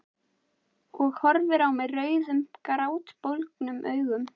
Og horfir á mig rauðum grátbólgnum augum.